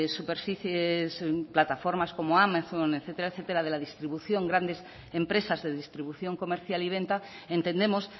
superficies plataformas como amazon etcétera etcétera de la distribución grandes empresas de distribución comercial y venta entendemos